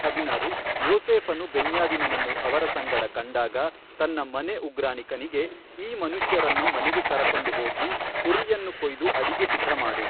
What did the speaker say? ಹದಿನಾರು ಯೋಸೇಫನು ಬೆನ್ಯಾವಿನನನ್ನು ಅವರ ಸಂಗಡ ಕಂಡಾಗ ತನ್ನ ಮನೆ ಉಗ್ರಾಣಿಕನಿಗೆ ಈ ಮನುಷ್ಯರನ್ನು ಮನೆಗೆ ಕರಕೊಂಡು ಹೋಗಿ ಕುರಿಯನ್ನು ಕೊಯ್ದು ಅಡಿಗೆ ಸಿದ್ಧಮಾಡು.